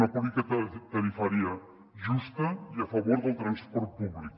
una política tarifària justa i a favor del transport públic